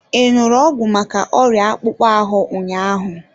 I ṅụrụ ọgwụ maka ọrịa akpụkpọ ahụ ụnyaahụ?